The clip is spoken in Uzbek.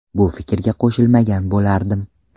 Bu fikrga qo‘shilmagan bo‘lardim.